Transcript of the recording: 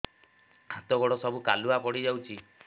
ହାତ ଗୋଡ ସବୁ କାଲୁଆ ପଡି ଯାଉଛି